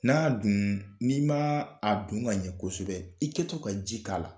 N'a duun n'i m'aa a dun ŋ'a ɲɛ kosɛbɛ, i kɛ to ka ji k'a la